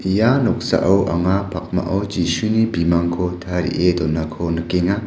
ia noksao anga pakmao jisuni bimangko tarie donako nikenga.